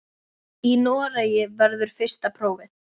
Í Noregi verður fyrsta prófið.